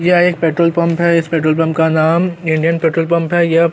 यह एक petrol pump है इस पेट्रोल पंप का नाम इंडियन पेट्रोल पंप है यह--